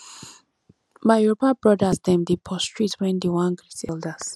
my yoruba brodas dem dey prostrate wen dey wan greet elders